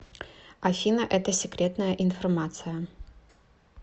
афина это секретная информация